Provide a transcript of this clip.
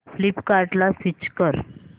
फ्लिपकार्टं ला स्विच कर